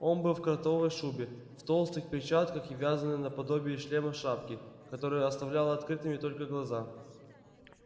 он был в кротовой шубе в толстых перчатках и вязаной наподобие шлема шапке которая оставляла открытыми только глаза